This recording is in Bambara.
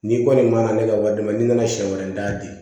N'i kɔni ma na ne ka wari d'a ma n'i nana siɲɛ wɛrɛ n t'a di